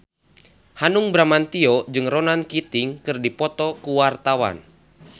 Hanung Bramantyo jeung Ronan Keating keur dipoto ku wartawan